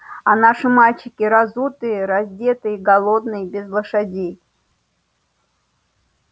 а наши мальчики разутые раздетые голодные без лошадей